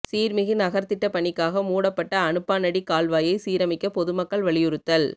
சீா்மிகு நகா்த்திட்ட பணிக்காக மூடப்பட்ட அனுப்பானடி கால்வாயை சீரமைக்க பொதுமக்கள் வலியுறுத்தல்